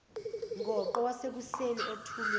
ngoqo wasekuseni othulwe